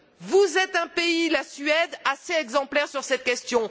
Vous êtes un pays, la Suède, assez exemplaire sur cette question.